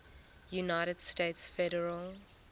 united states federal